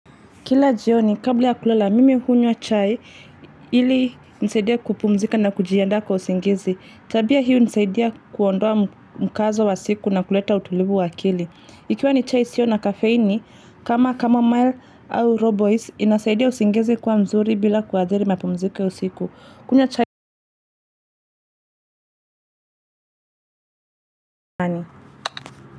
Kila jioni, kabla ya kulala, mimi hunywa chai ili nisaidia kupumzika na kujianda kwa usingizi. Tabia hii hunisaidia kuondoa mkazo wa siku na kuleta utulivu wa akili. Ikiwa ni chai sio na kafeini, kama kama mile au robois, inasaidia usingizi kuwa mzuri bila kuadhiri mapumziko usiku.